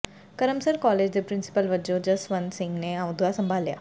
Karamsar college ਦੇ principal ਵਜ੍ਹੋਂ ਜਸਵੰਤ ਸਿੰਘ ਨੇ ਅਹੁਦਾ ਸੰਭਾਲਿਆ